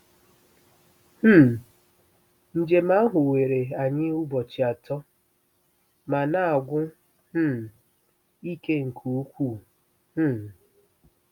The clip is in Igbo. um Njem ahụ were anyị ụbọchị atọ ma na-agwụ um ike nke ukwuu um.